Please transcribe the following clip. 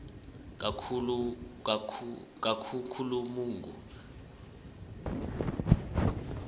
kakhukhulamungu